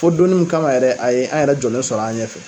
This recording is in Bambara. Fo donnin kama yɛrɛ a ye an yɛrɛ jɔlen sɔrɔ an ɲɛfɛ